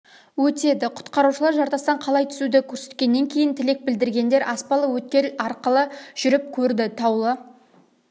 өтеді құтқарушылар жартастан қалай түсуді көрсеткененнен кейін тілек білдіргендер аспалы өткел арқылы жүріп көрді таулы